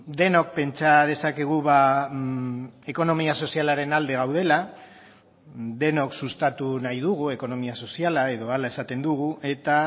denok pentsa dezakegu ekonomia sozialaren alde gaudela denok sustatu nahi dugu ekonomia soziala edo hala esaten dugu eta